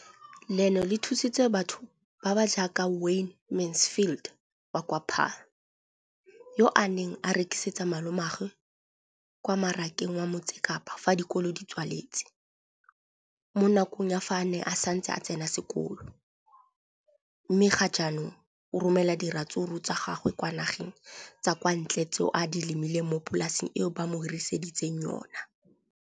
leno le thusitse batho ba ba jaaka Wayne Mansfield, 33, wa kwa Paarl, yo a neng a rekisetsa malomagwe kwa Marakeng wa Motsekapa fa dikolo di tswaletse, mo nakong ya fa a ne a santse a tsena sekolo, mme ga jaanong o romela diratsuru tsa gagwe kwa dinageng tsa kwa ntle tseo a di lemileng mo polaseng eo ba mo hiriseditseng yona.